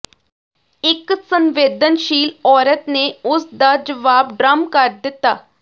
ਇੱਕ ਸੰਵੇਦਨਸ਼ੀਲ ਔਰਤ ਨੇ ਉਸ ਦਾ ਜਵਾਬ ਡ੍ਰਮ ਕਰ ਦਿੱਤਾ